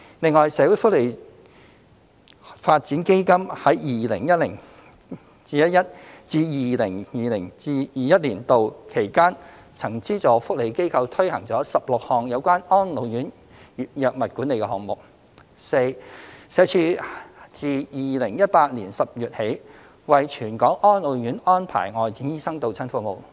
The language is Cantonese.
另外，社會福利發展基金在 2010-2011 年度至 2020-2021 年度期間，曾資助福利機構推行了16項有關安老院藥物管理的項目； d 社署自2018年10月起為全港安老院安排外展醫生到診服務。